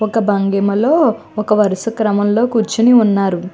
వక భంగిమ లో ఒక వరస క్రమం లో కూర్చొని ఉన్నారు.